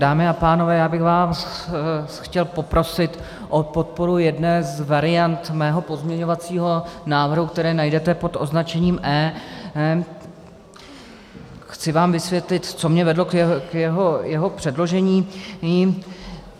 Dámy a pánové, já bych vás chtěl poprosit o podporu jedné z variant svého pozměňovacího návrhu, které najdete pod označením E. Chci vám vysvětlit, co mě vedlo k jeho předložení.